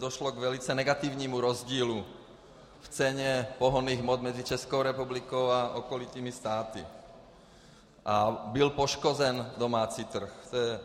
Došlo k velice negativnímu rozdílu v ceně pohonných hmot mezi Českou republikou a okolními státy a byl poškozen domácí trh.